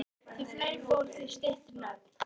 Því fleira fólk, því styttri nöfn.